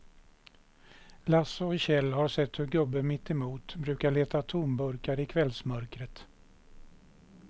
Lasse och Kjell har sett hur gubben mittemot brukar leta tomburkar i kvällsmörkret.